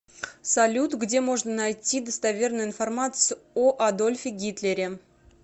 салют где можно найти достоверную информацию о адольфе гитлере